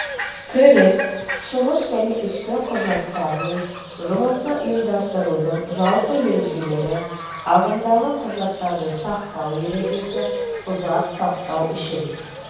кіріс шығыс және ішкі құжаттармен жұмысты ұйымдастырудың жалпы ережелері ағымдағы құжаттарды сақтау ережесі ұзақ сақтау үшін